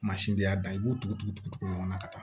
Mansindi y'a da i b'u tugu-tugu-tugu ɲɔgɔn na ka taa